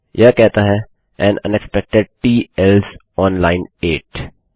यह कहता है an unexpected T else on line 8